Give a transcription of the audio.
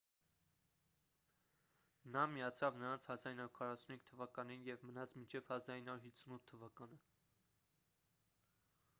նա միացավ նրանց 1945 թվականին և մնաց մինչև 1958 թվականը